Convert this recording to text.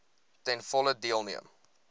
ten volle deelneem